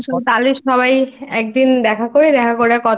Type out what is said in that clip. হ্যাঁ তাহলে সবাই একদিন দেখা করে দেখা করে